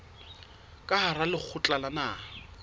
ka hara lekgotla la naha